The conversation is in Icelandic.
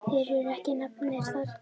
Þeir eru ekki nefndir þarna.